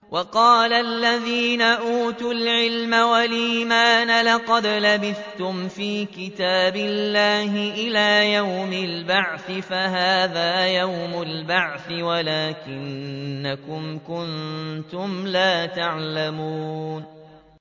وَقَالَ الَّذِينَ أُوتُوا الْعِلْمَ وَالْإِيمَانَ لَقَدْ لَبِثْتُمْ فِي كِتَابِ اللَّهِ إِلَىٰ يَوْمِ الْبَعْثِ ۖ فَهَٰذَا يَوْمُ الْبَعْثِ وَلَٰكِنَّكُمْ كُنتُمْ لَا تَعْلَمُونَ